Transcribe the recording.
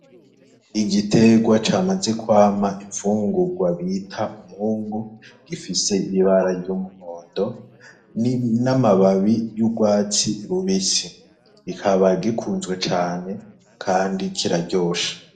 Igitegwa camaze kwama imfungurwa bita umwungu gifise ibibara ry'umuhondo n'amababi y'urwatsi rubisi gikaba gikunzwe cane, kandi kiraryosha.